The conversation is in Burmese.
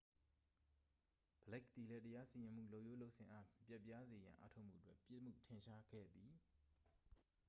ဘလိတ် သည်လည်း တရားစီရင်မှုလုပ်ရိုးလုပ်စဉ်အား ပျက်ပြားစေရန် အားထုတ်မှုအတွက် ပြစ်မှုထင်ရှားခဲ့သည်